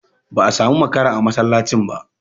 Ba a samu makara a masallacin ba.